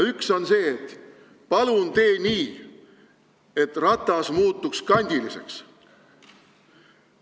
Üks on see: palun tee nii, et ratas muutuks kandiliseks!